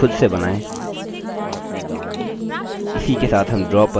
इस picture को खुद से बनाएँ